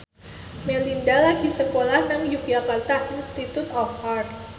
Melinda lagi sekolah nang Yogyakarta Institute of Art